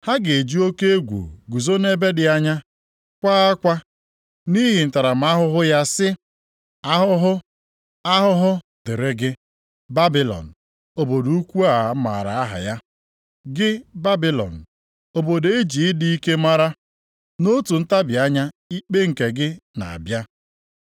Ha ga-eji oke egwu guzo nʼebe dị anya, kwaa akwa nʼihi ntaramahụhụ ya sị, “ ‘Ahụhụ, Ahụhụ dịrị gị, Babilọn, Obodo ukwu a maara aha ya gị Babilọn, obodo e ji ịdị ike maara. Nʼotu ntabi anya, ikpe nke gị na-abịa.’